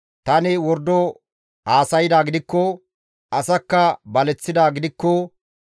Tani wordo haasaydaa gidikko, asakka baleththidaa gidikko;